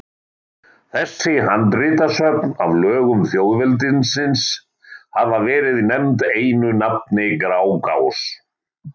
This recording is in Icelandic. Þessi handritasöfn af lögum þjóðveldisins hafa verið nefnd einu nafni Grágás.